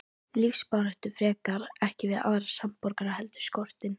Lífsbaráttu frekar, ekki við aðra samborgara heldur skortinn.